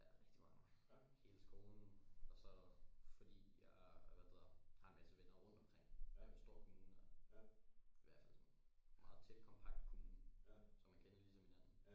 Ja rigtig mange. Hele skolen og så fordi jeg hvad er det hedder har en masse venner rundt omkring. Det er en stor kommune her i hvertfald sådan en meget tæt kompakt kommune så man kender ligesom hinanden.